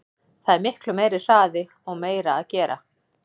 Það er miklu meiri hraði og meira að gera.